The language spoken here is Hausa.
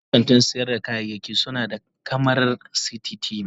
Yawancin kantin sayar da kayayyaki suna da kyamarar cctv.